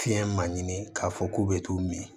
Fiɲɛ ma ɲini k'a fɔ k'u bɛ t'u min